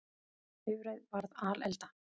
Bifreið varð alelda